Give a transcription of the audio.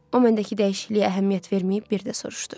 O məndəki dəyişikliyə əhəmiyyət verməyib bir də soruşdu.